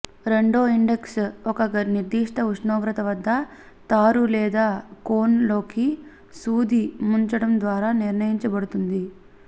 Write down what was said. రెండో ఇండెక్స్ ఒక నిర్దిష్ట ఉష్ణోగ్రత వద్ద తారు లేదా కోన్ లోకి సూది ముంచడం ద్వారా నిర్ణయించబడుతుంది